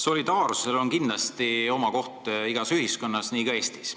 Solidaarsusel on kindlasti koht igas ühiskonnas, nii ka Eestis.